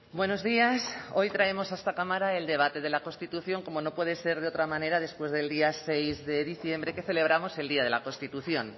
buenos días hoy traemos a esta cámara el debate de la constitución como no puede ser de otra manera después del día seis de diciembre que celebramos el día de la constitución